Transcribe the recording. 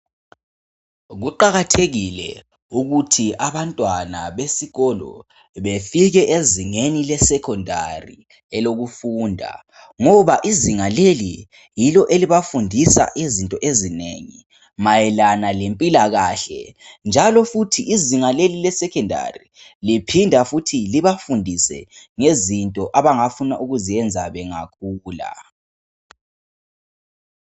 Kuqakathekile ukuthi abantwana befike ezingeni lesecondary elokufunda ngoba izinga leli yilo elibafundisa izinto ezinengi mayelana lempilakahle njalo futhi izinga leli lesecondary liphinda futhi libafundise abangafuna ukuzenza bengakhula